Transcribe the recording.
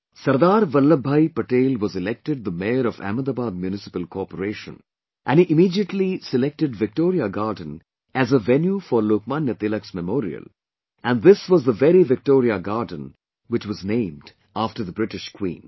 Sardar Vallabh Bhai Patel was elected the Mayor of Ahmedabad municipal corporation and he immediately selected Victoria Garden as a venue for Lok Manya Tilak's memorial and this was the very Victoria Garden which was named after the British Queen